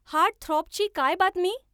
Heartthrob ची काय बातमी ?